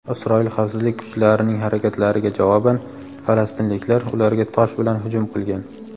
Isroil xavfsizlik kuchlarining harakatlariga javoban falastinliklar ularga tosh bilan hujum qilgan.